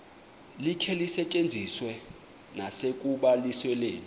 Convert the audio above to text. likhe lisetyenziswe nasekubalisweni